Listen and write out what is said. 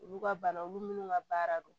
Olu ka bana olu minnu ka baara don